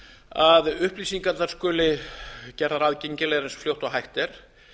að upplýsingarnar skuli gerðar aðgengilegar eins fljótt og hægt er